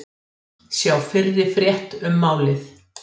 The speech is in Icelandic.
Sjá fyrri frétt um málið